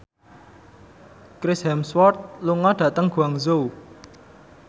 Chris Hemsworth lunga dhateng Guangzhou